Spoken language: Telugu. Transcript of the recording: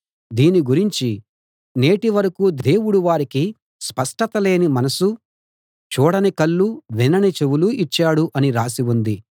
దీని గురించి నేటి వరకూ దేవుడు వారికి స్పష్టతలేని మనసు చూడని కళ్ళు వినని చెవులు ఇచ్చాడు అని రాసి ఉంది